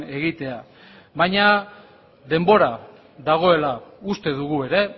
egitea baina denbora dagoela uste dugu ere